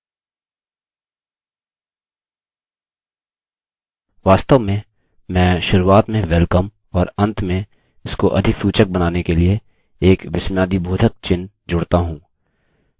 वास्तव में मैं शुरूआत में welcome और अंत में इसको अधिक सूचक बनाने के लिए एक विस्मयादिबोधक चिह्नexclamation mark जोड़ता हूँ